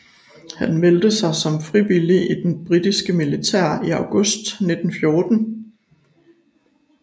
Han meldte sig som frivillig i det britiske militær i august 1914